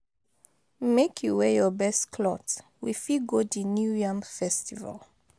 Make you wear your best clothe, we fit go di New Yam festival.